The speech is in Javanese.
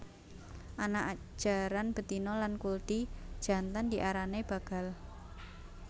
Anak jaran betina lan kuldi jantan diarani bagal